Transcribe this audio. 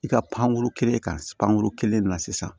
I ka pankuru kelen kan pankurun kelen na sisan